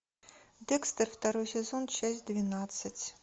декстер второй сезон часть двенадцать